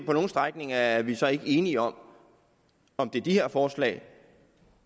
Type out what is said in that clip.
på nogle strækninger er vi så ikke enige om om det er de her forslag